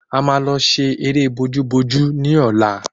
A maa lọ ṣe eré bojú bojú ni ọlá